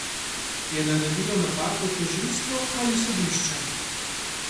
Je naredilo napako tožilstvo ali sodišče?